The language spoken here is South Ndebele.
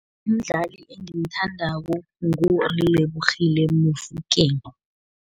Umdlali engimthandako, nguLebogile Mofokeng.